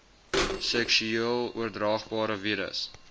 seksueel oordraagbare virus